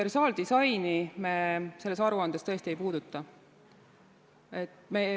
Universaaldisaini me selles aruandes tõesti ei puuduta.